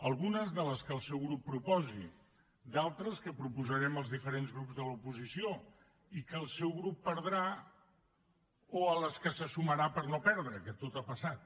algunes de les que el seu grup proposi i d’altres que proposarem els diferents grups de l’oposició i que el seu grup perdrà o a què se sumarà per no perdre que tot ha passat